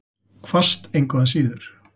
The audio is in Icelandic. Hvasst engu að síður.